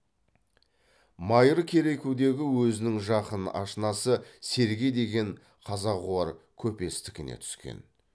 майыр керекудегі өзінің жақын ашынасы сергей деген қазағуар көпестікіне түскен